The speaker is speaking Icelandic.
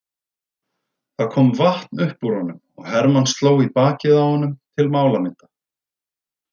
Það kom vatn upp úr honum og Hermann sló í bakið á honum til málamynda.